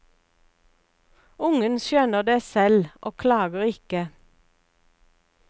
Ungen skjønner det selv og klager ikke.